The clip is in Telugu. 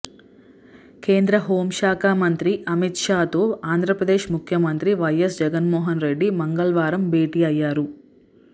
కేంద్ర హోమ్ శాఖా మంత్రి అమిత్ షాతో ఆంధ్రప్రదేశ్ ముఖ్యమంత్రి వైఎస్ జగన్మోహన్ రెడ్డి మంగళవారం భేటీ అయ్యారు